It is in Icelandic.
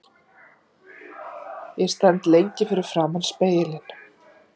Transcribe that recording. Ég stend lengi fyrir framan spegilinn.